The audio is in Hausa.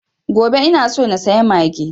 Gobe ina so na saya mage